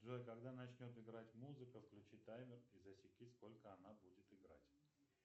джой когда начнет играть музыка включи таймер и засеки сколько она будет играть